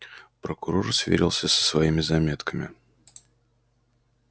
прокурор сверился со своими заметками